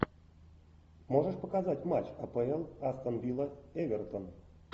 можешь показать матч апл астон вилла эвертон